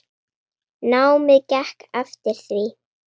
Námið gekk eftir því.